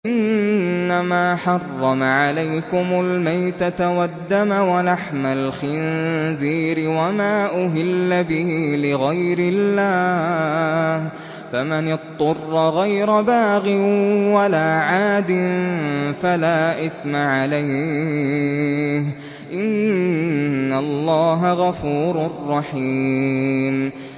إِنَّمَا حَرَّمَ عَلَيْكُمُ الْمَيْتَةَ وَالدَّمَ وَلَحْمَ الْخِنزِيرِ وَمَا أُهِلَّ بِهِ لِغَيْرِ اللَّهِ ۖ فَمَنِ اضْطُرَّ غَيْرَ بَاغٍ وَلَا عَادٍ فَلَا إِثْمَ عَلَيْهِ ۚ إِنَّ اللَّهَ غَفُورٌ رَّحِيمٌ